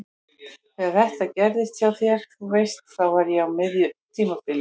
Þegar þetta gerðist hjá þér. þú veist. þá var ég á miðju tímabili.